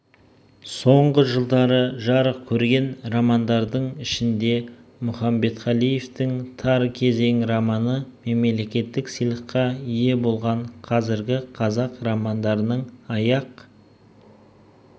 соңғы жылдары жарық көрген романдардың ішінде мұқамбетқалиевтың тар кезең романы мемлекеттік сыйлыққа ие болған қазіргі қазақ романдарының аяқ